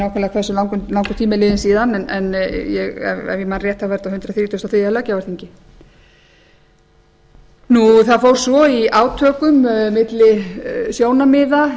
langur tími er liðinn síðan en ef ég man rétt var þetta á hundrað þrítugasta og þriðja löggjafarþingi það fór svo í átökum milli sjónarmiða innan